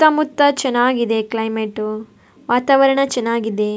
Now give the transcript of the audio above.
ಸುತ್ತ ಮುತ್ತ ಚೆನ್ನಾಗಿದೆ ಕ್ಲೈಮೆಟ್ ವಾತಾವರಣ ಚೆನ್ನಾಗಿದೆ.